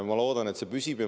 Ma loodan, et see püsib.